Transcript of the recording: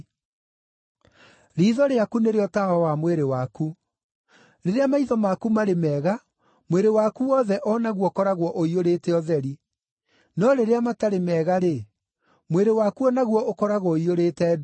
Riitho rĩaku nĩrĩo tawa wa mwĩrĩ waku. Rĩrĩa maitho maku marĩ mega, mwĩrĩ waku wothe o naguo ũkoragwo ũiyũrĩte ũtheri. No rĩrĩa matarĩ mega-rĩ, mwĩrĩ waku o naguo ũkoragwo ũiyũrĩte nduma.